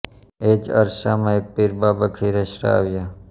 એ જ અરસામાં એક પીર બાબા ખીરસરા આવ્યા